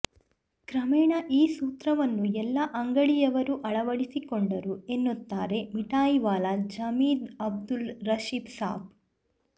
ಕ್ರಮೇಣ ಈ ಸೂತ್ರವನ್ನು ಎಲ್ಲ ಅಂಗಡಿಯವರೂ ಅಳವಡಿಸಿಕೊಂಡರು ಎನ್ನುತ್ತಾರೆ ಮಿಠಾಯಿವಾಲಾ ಜಾವಿದ್ ಅಬ್ದುಲ್ ರಶೀದ್ಸಾಬ್